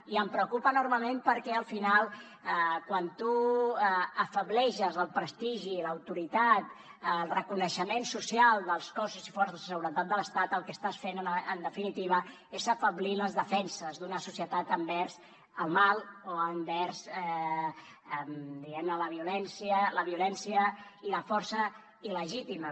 i em preocupa enormement perquè al final quan tu afebleixes el prestigi l’autoritat el reconeixement social dels cossos i forces de seguretat de l’estat el que estàs fent en definitiva és afeblir les defenses d’una societat envers el mal o envers diguem ne la violència i la força il·legítima